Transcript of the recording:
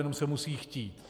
Jenom se musí chtít.